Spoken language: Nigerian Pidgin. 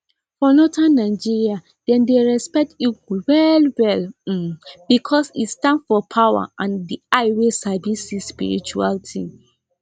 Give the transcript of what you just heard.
for northern nigeria dem dey respect eagle wellwell um because e stand for power and eye wey sabi see spiritual thing